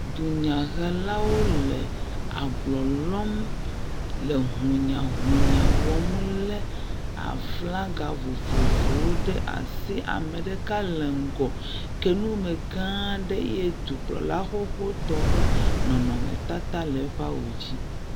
Dunyehelawo le ablɔ lɔm le hunyahunya wɔm le aflaga vovovowo ɖe asi. Ame ɖeka le ŋgɔ ke nu me gã aɖe eye dukplɔla xoxoxotɔ ƒe nɔnɔmetata le eƒe awu dzi.